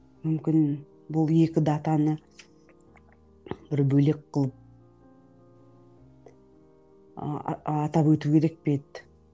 мүмкін бұл екі датаны бір бөлек қылып атап өту керек пе еді